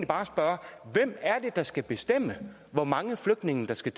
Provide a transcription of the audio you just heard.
bare spørge hvem er det der skal bestemme hvor mange flygtninge der skal